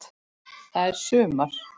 Það er sumar.